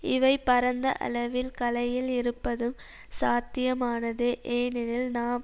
இவை பரந்த அளவில் கலையில் இருப்பதும் சாத்தியமானதே ஏனெனில் நாம்